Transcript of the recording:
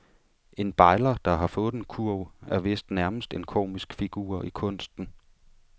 En bejler, der har fået en kurv, er vist nærmest en komisk figur i kunsten.